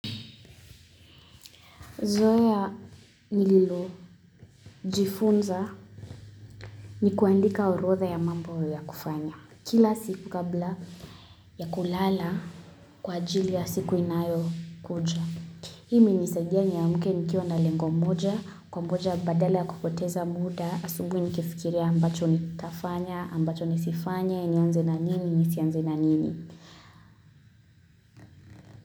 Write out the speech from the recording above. Zoea nililojifunza ni kuandika orodha ya mambo ya kufanya kila siku kabla ya kulala kwa ajili ya siku inayokuja Hii imenisaidia niamke nikiwa na lengo moja kungoja badala ya kupoteza muda asubuhi nikifikiria ambacho nitafanya ambacho nisifanye nianze na nini nisianze na nini.